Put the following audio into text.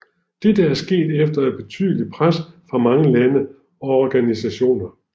Dette er sket efter et betydeligt pres fra mange lande og organisationer